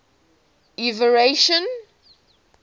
everton